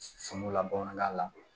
Sunukunla bamanankan na